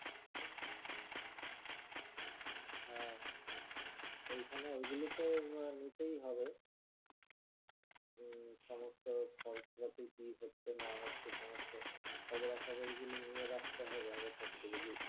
হ্যাঁ ঐখানে ওইগুলো তো হম নিতেই হবে হম সমস্ত খরচ পাতি কি হচ্ছে না হচ্ছে সমস্ত খবরাখবর গুলো নিয়ে রাখতে হবে আগে থাকতে যদি